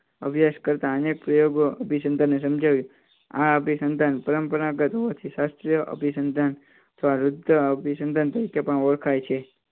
અભ્યાસ કરતા અનેક પ્રયોગો અભિનંદન સમજાવી આ અભિસંધાન પરંપરાગત હોવાથી શાસ્ત્રીય અભિસંધાન અભિસંધાન તરીકે પણ ઓળખાય છે